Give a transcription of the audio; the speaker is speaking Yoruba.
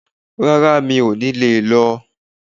Rárá mi ò ní leẹ̀ lọ